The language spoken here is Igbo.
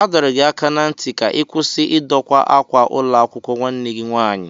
A dọrọ gị aka ná ntị ka ị kwụsị Ị doka ákwà ụlọakwụkwọ nwanne gị nwaanyị!